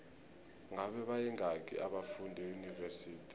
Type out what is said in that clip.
ngabe bayingaki abafundi eunivesithi